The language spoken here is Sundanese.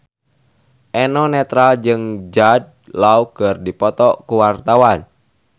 Eno Netral jeung Jude Law keur dipoto ku wartawan